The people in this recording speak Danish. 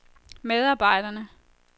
medarbejderne